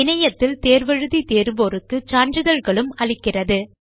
இணையத்தில் தேர்வு எழுதி தேர்வோருக்கு சான்றிதழ்களும் அளிக்கிறது